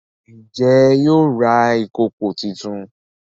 Njé yóò rà ìkọkọ títún?